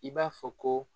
I b'a fɔ ko